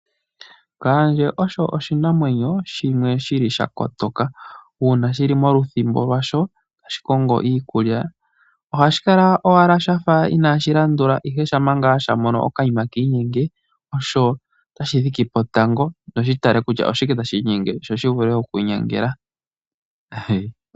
Kaandje osho oshinamwenyo shimwe shi li shakotoka, uuna shi li moluthimbo lwasho tashi kongo iikulya, ohashi kala owala shafa ina shi landula ihe shampa nga sha mono okayima ki Inyenge osho tashi thiki po tango, shi tale kutya oshike tashi iinyenge sho shi vule okwiinyangela.